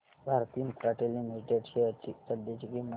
Bharti Infratel limited shares ची सध्याची किंमत